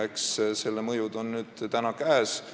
Eks selle mõjud ole nüüd käes.